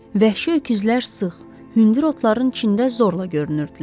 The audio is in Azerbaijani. Vəhşi öküzlər sıx, hündür otların içində zorla görünürdülər.